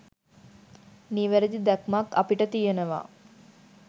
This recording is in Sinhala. නිවැරදි දැක්මක් අපිට තියෙනවා.